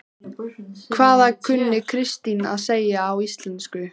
Hvað kunni Kristín að segja á íslensku?